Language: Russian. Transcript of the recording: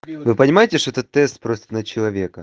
вы понимаете что это тест просто на человека